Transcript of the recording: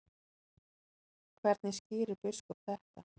Hvernig skýrir biskup þetta?